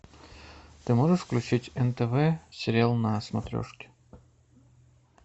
ты можешь включить нтв сериал на смотрешке